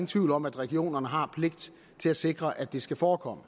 tvivl om at regionerne har pligt til at sikre at det skal forekomme